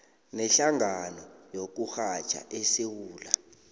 nehlangano yokurhatjha esewula